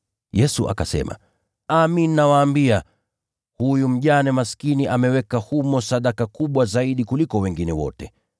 Yesu akasema, “Amin, nawaambia, huyu mjane maskini ameweka humo zaidi ya watu wengine wote.